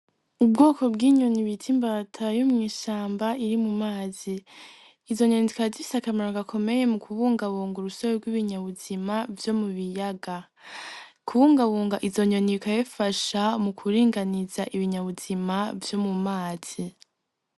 Ubwoko bw'inyoni bita imbata yo mw'ishamba iri mu mazi, izo nyoni zikaba zifise akamaro gakomeye mu kubungabunga urusobe rw'ibinyabuzima vyo mu biyaga, kubungabunga izo nyoni bikaba bifasha mu kuringaniza ibinyabuzima vyo mu mazi.